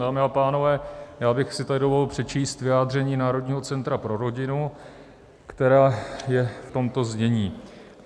Dámy a pánové, já bych si tady dovolil přečíst vyjádření Národního centra pro rodinu, které je v tomto znění: